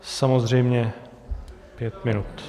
Samozřejmě pět minut.